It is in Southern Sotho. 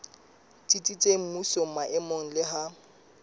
tsitsitseng mmusong maemong le ha